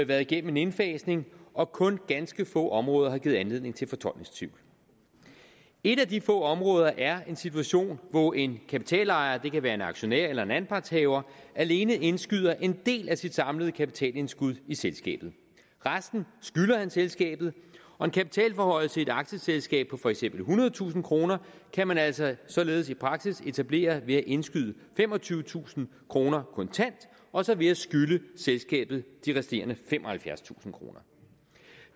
været igennem en indfasning og kun ganske få områder har givet anledning til fortolkningstvivl et af de få områder er en situation hvor en kapitalejer det kan være en aktionær eller en anpartshaver alene indskyder en del af sit samlede kapitalindskud i selskabet resten skylder han selskabet og en kapitalforhøjelse i et aktieselskab på for eksempel ethundredetusind kroner kan man altså således i praksis etablere ved at indskyde femogtyvetusind kroner kontant og så ved at skylde selskabet de resterende femoghalvfjerdstusind kroner